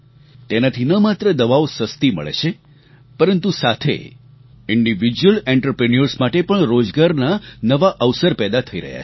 તેનાથી ન માત્ર દવાઓ સસ્તી મળે છે પરંતુ સાથે ઇન્ડિવિડ્યુઅલ આંત્રપ્રિન્યોર્સ માટે પણ રોજગારના નવા અવસર પેદા થઈ રહ્યા છે